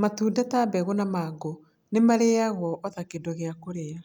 matunda ta mbegũ na mango nĩ marĩagagio o ta kĩndũ gĩa kũrĩa.